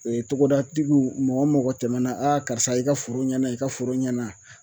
Ee togodatigiw mɔgɔ mɔgɔ tɛmɛna a karisa i ka foro ɲɛna i ka foro ɲɛna